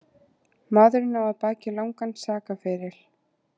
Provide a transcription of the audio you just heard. Maðurinn á að baki langan sakaferil